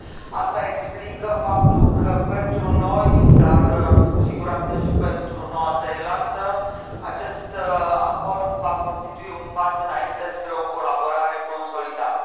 Asta explică faptul că pentru noi dar, cu siguranță, și pentru Noua Zeelandă acest acord va constitui un pas înainte spre o colaborare consolidată.